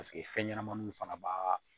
Paseke fɛn ɲɛnɛmaninw fana b'a